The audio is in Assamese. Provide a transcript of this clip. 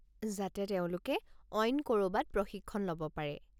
যাতে তেওঁলোকে অইন ক'ৰবাত প্ৰশিক্ষণ ল'ব পাৰে।